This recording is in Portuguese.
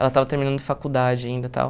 Ela estava terminando faculdade ainda e tal.